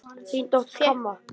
Þín dóttir, Kamma.